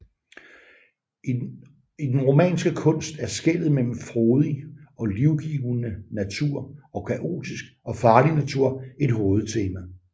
I den romanske kunst er skellet mellem frodig og livgivende natur og kaotisk og farlig natur et hovedtema